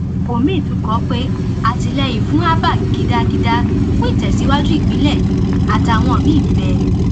omiín tún kọ ọ pé atìlẹyìn fún abba gidagida fún ìtẹsíwájú ìpínlẹ yìí àtàwọn míín bẹẹ